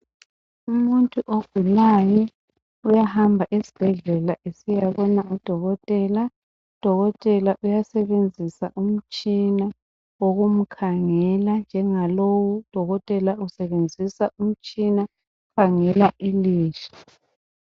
Umuntu ogulayo uyahamba esibhedlela esiyabona odokotela, udokotela uyasebenzisa umtshina ukumkhangela njengalowu udokotela usebenzisa umtshina ukukhangela ilihlo.